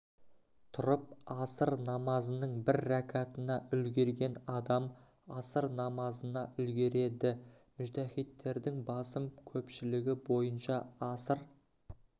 тұрып аср намазының бір рәкатына үлгерген адам аср намазына үлгереді мүжтәһиттердің басым көпшілігі бойынша аср